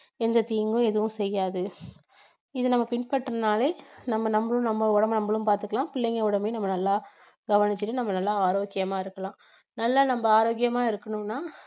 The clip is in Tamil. எந்த தீங்கும் எதுவும் செய்யாது இதை நம்ம பின்பற்றினாலே நம்ம நம்மளும் நம்ம உடம்பை நம்மளும் பாத்துக்கலாம் பிள்ளைங்க உடம்பையும் நம்ம நல்லா நம்ம நல்லா ஆரோக்கியமா இருக்கலாம் நல்லா நம்ம ஆரோக்கியமா இருக்கணும்னா